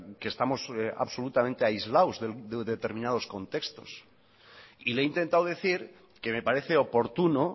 que estamos absolutamente aislados de determinados contextos y le he intentado decir que me parece oportuno